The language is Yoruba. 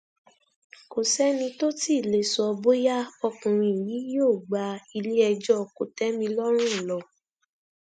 kò sẹni tó tí ì lè sọ bóyá ọkùnrin yìí yóò gba iléẹjọ kòtẹmílọrùn lọ